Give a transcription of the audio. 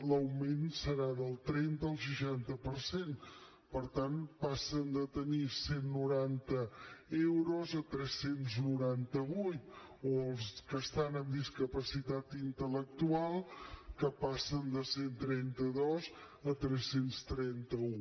l’augment serà del trenta al seixanta per cent per tant passen de tenir cent i noranta euros a tres cents i noranta vuit o els que estan amb discapacitat intel·lectual que passen de cent i trenta dos a tres cents i trenta un